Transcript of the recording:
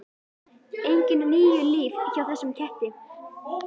Engin níu líf hjá þessum ketti.